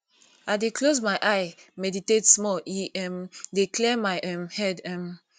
i dey close my eyes meditate small e um dey clear my um head um